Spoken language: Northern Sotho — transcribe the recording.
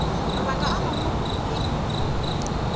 mabaka a mangwe o be